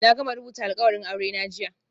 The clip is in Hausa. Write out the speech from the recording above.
Na gama rubuta alkawarin aurena jiya